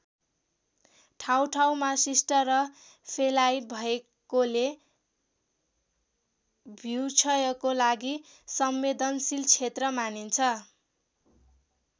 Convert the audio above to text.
ठाउँठाउँमा शिष्ट र फेलाइट भएकोले भूक्षयको लागि संवेदनशील क्षेत्र मानिन्छ।